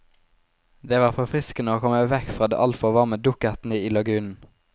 Det var forfriskende å komme vekk fra de altfor varme dukkertene i lagunen.